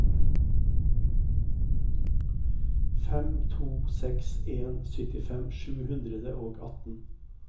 fem to seks en syttifem sju hundre og atten